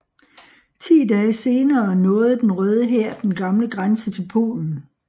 Ti dage senere nåede den Røde hær den gamle grænse til Polen